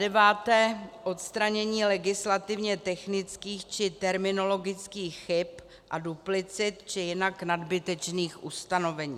Zadeváté odstranění legislativně technických či terminologických chyb a duplicit či jinak nadbytečných ustanovení.